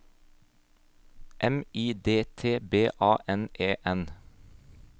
M I D T B A N E N